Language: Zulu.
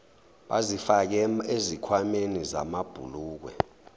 bazifake ezikhwameni zamabhulukwe